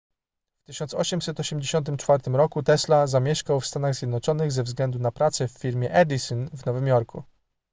w 1884 roku tesla zamieszkał w stanach zjednoczonych ze względu na pracę w firmie edison w nowym jorku